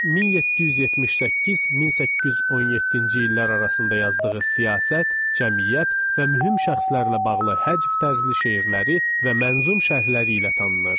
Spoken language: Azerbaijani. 1778-1817-ci illər arasında yazdığı siyasət, cəmiyyət və mühüm şəxslərlə bağlı həcv tərzli şeirləri və mənzum şərhləri ilə tanınır.